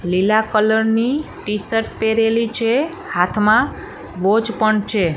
લીલા કલર ની ટી_શર્ટ પહેરેલી છે હાથમાં વોચ પણ છે.